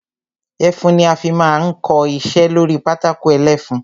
Ẹfun ni a fi máa ń kọ iṣẹ́ lórí pátákó ẹlẹ́fun.